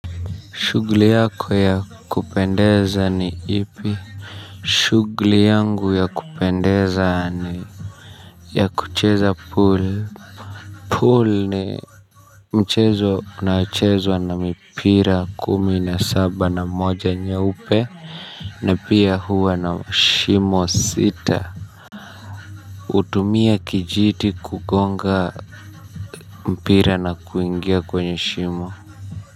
Shughli yako ya kupendeza ni ipi? Shughli yangu ya kupendeza ni kucheza pool pool ni mchezo unaochezwa na mipira kumi na saba na moja nyeupe na pia huwa na shimo sita. Utumia kijiti kugonga mpira na kuingia kwenye shimo.